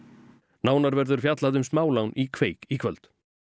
nánar verður fjallað um smálán í kveik í kvöld